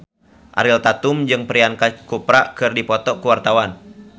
Ariel Tatum jeung Priyanka Chopra keur dipoto ku wartawan